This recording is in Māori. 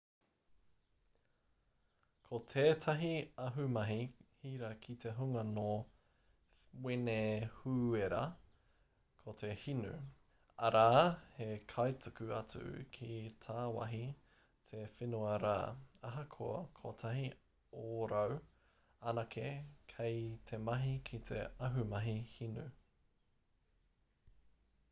ko tētahi ahumahi hira ki te hunga nō wenehūera ko te hinu arā he kaituku atu ki tāwahi te whenua rā ahakoa kotahi ōrau anake kei te mahi ki te ahumahi hinu